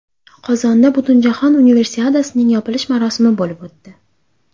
Qozonda Butunjahon Universiadasining yopilish marosimi bo‘lib o‘tdi.